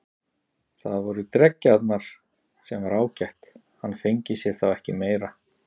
Það voru dreggjarnar, sem var ágætt, hann fengi sér þá ekki meira.